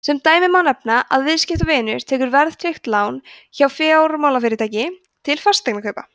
sem dæmi má nefna að viðskiptavinur tekur verðtryggt lán hjá fjármálafyrirtæki til fasteignakaupa